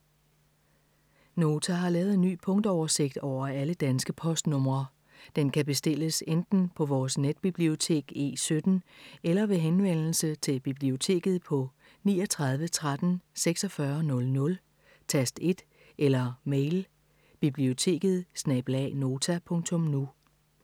Nota har lavet en ny punktoversigt over alle danske postnumre. Den kan bestilles enten på vores netbibliotek E17 eller ved henvendelse til biblioteket på 39 13 46 00, tast 1 eller mail: biblioteket@nota.nu